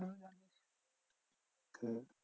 হ্যাঁ